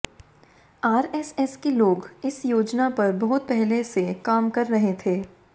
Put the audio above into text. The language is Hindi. आरएसएस के लोग इस योजना पर बहुत पहले से काम कर रहे थे